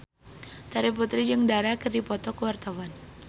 Terry Putri jeung Dara keur dipoto ku wartawan